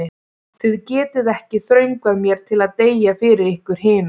Þið getið ekki þröngvað mér til að deyja fyrir ykkur hina.